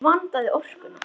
Ekki vantaði orkuna.